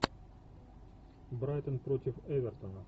брайтон против эвертона